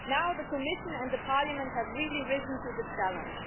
Now the Commission and the Parliament have really risen to the challenge.